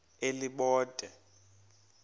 elibode